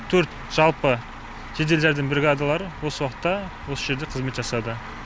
төрт жалпы жедел жәрдем бригадалары осы уақытта осы жерде қызмет жасады